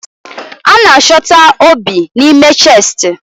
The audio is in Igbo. A na-achọta obi n'ime chestị